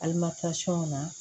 na